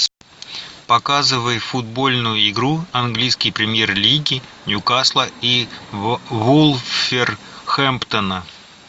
показывай футбольную игру английской премьер лиги ньюкасла и вулверхэмптона